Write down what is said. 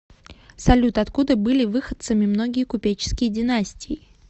салют откуда были выходцами многие купеческие династии